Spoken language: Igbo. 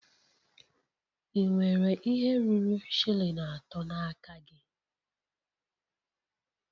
Ị nwere ihe ruru shilling atọ n'aka gị?